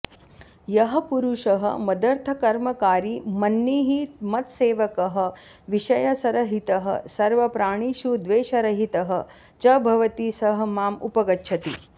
यः पुरुषः मदर्थकर्मकारी मन्निः मत्सेवकः विषयसरहितः सर्वप्राणिषु द्वेषरहितः च भवति सः माम् उपगच्छति